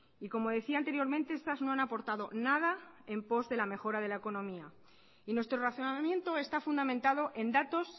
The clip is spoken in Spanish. como decía anteriormente estas no han aportado nada en post de la mejora de la economía nuestro razonamiento está fundamentado en datos